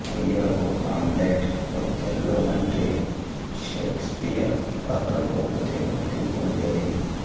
అయ్యరుకు Hamlet Othello వంటి Shakespeare పాత్రలకు ప్రత్యేక గుర్తింపు ఉండేది